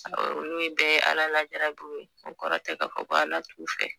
olu bɛɛ ye alalajarabiw ye o kɔrɔ tɛ k'a fɔ ko ALA t'u fɛ.